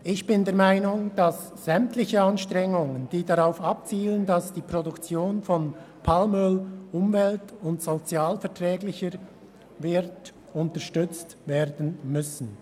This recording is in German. Ich bin der Meinung, dass sämtliche Anstrengungen, die darauf abzielen, die Produktion von Palmöl umwelt- und sozialverträglicher zu machen, unterstützt werden müssen.